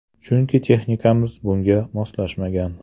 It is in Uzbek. Chunki texnikamiz bunga moslanmagan.